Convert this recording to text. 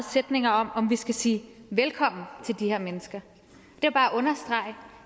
sætninger om om vi skal sige velkommen til de her mennesker